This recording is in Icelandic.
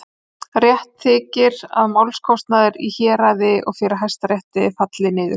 Rétt þykir, að málskostnaður í héraði og fyrir Hæstarétti falli niður.